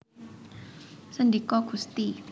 Sendika Gusti